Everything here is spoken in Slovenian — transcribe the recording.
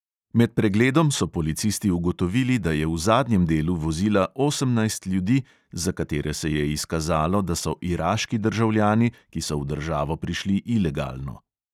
Med pregledom so policisti ugotovili, da je v zadnjem delu vozila osemnajst ljudi, za katere se je izkazalo, da so iraški državljani, ki so v državo prišli ilegalno.